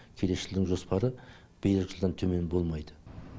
келесі жылдың жоспары биылғы жылдан төмен болмайды